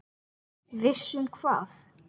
Viss um hvað?